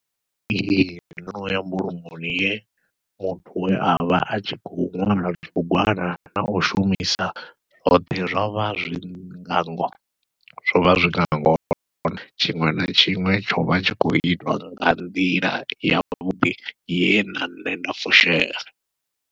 Ee ndono ya mbulungoni ye muthu we avha atshi khou ṅwala tshibugwana nau shumisa hoṱhe zwovha zwinga ngo zwovha zwinga ngona tshiṅwe na tshiṅwe tshovha tshi khou itwa nga nḓila yavhuḓi ye na nṋe nda fushea.